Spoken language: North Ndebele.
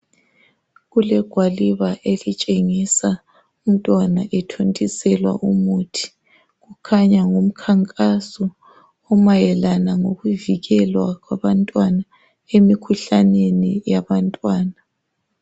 Kulegwaliba elitshengisa umntwana uthontiselwa umuthi kukhanya ngumkhankaso omayelana ngokuvikelwa kwabantwana emkhuhlaneni yabantwana.